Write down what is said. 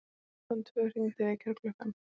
Klukkan tvö hringdi vekjaraklukkan.